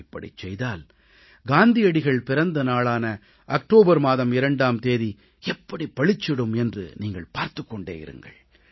இப்படிச் செய்தால் காந்தியடிகள் பிறந்த நாளான அக்டோபர் மாதம் 2ஆம் தேதி எப்படி பளிச்சிடும் என்று நீங்கள் பார்த்துக் கொண்டே இருங்கள்